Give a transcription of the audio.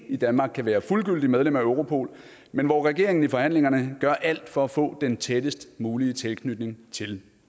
i danmark kan være fuldgyldigt medlem af europol men hvor regeringen i forhandlingerne gør alt for at få den tættest mulige tilknytning til